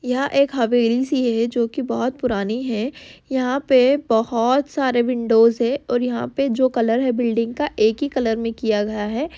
यह एक हवेली सी है जो की बहुत पुरानी है। यहाँ पे बहुत सारे विंडोज़ है और यहाँ पे जो कलर है बिल्डिंग का एक ही कलर में किया गया है।